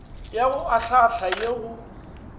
ya go ahlaahla ye go